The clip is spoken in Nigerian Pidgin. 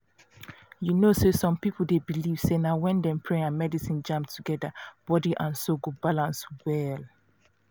you know say some people dey believe say na when dem pray and medicine jam together body and soul go balance well.